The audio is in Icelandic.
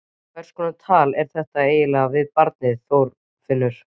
Hverskonar tal er þetta eiginlega við barnið Þorfinnur?